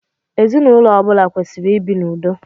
Ezinụlọ ọbula kwesiri ibi n'ụdo